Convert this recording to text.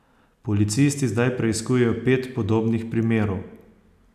Policisti zdaj preiskujejo pet podobnih primerov.